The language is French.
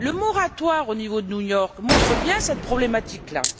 Le moratoire au niveau de New York montre bien cette problématique là.